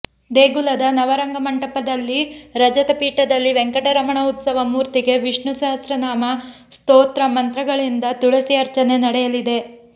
ದೇಗುಲದ ನವರಂಗ ಮಂಟಪದಲ್ಲಿ ರಜತಪೀಠದಲ್ಲಿ ವೆಂಕಟರಮಣ ಉತ್ಸವ ಮೂರ್ತಿಗೆ ವಿಷ್ಣುಸಹಸ್ರನಾಮ ಸ್ತೋತ್ರಮಂತ್ರಗಳಿಂದ ತುಳಸಿ ಅರ್ಚನೆ ನಡೆಯಲಿದೆ